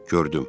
Gördüm.